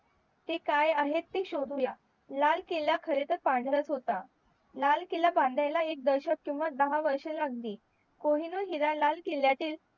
ते काय आहेत ते शोधूया लाल किल्ला खरे तर पांढराच होता लाल किल्ला बांधायला एक दशत किंवा दहा वर्षे लागली कोहिनूर हिरा लाल किल्ल्यातील